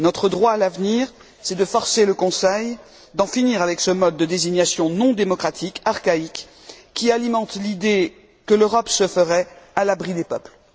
Notre droit, à l'avenir, c'est de forcer le Conseil à en finir avec ce mode de désignation non démocratique, archaïque, qui alimente l'idée que l'Europe se ferait à l'abri des peuples.